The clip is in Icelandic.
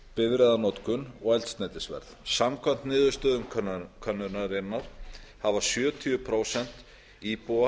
bifreiðanotkun og eldsneytisverð samkvæmt niðurstöðum könnunarinnar hafa sjötíu prósent íbúa